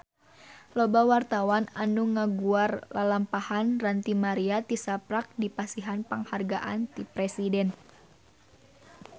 Loba wartawan anu ngaguar lalampahan Ranty Maria tisaprak dipasihan panghargaan ti Presiden